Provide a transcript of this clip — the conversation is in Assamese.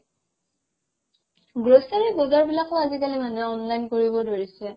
grocery বজাৰ বিলাকও আজিকালি মানুহে online কৰিব ধৰিছে